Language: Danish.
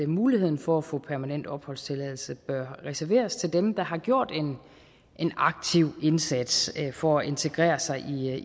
muligheden for at få permanent opholdstilladelse bør reserveres til dem der har gjort en aktiv indsats for at integrere sig